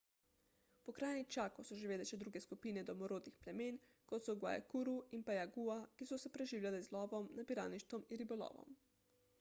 v pokrajini chaco so živele še druge skupine domorodnih plemen kot so guaycurú in payaguá ki so se preživljale z lovom nabiralništvom in ribolovom